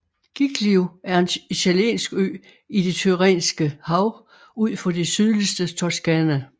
Giglio er en italiensk ø i det Tyrrhenske hav ud for det sydligste Toscana